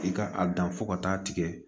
I ka a dan fo ka taa tigɛ